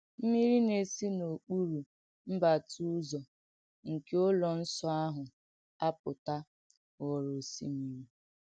M̀mírì nà-èsì n’ọ̀kùpùrù m̀bàtà ùzò nkè ùlọ̀ Nsọ̀ àhụ̀ ‘àpùtà’ ghòrò òsìmírì.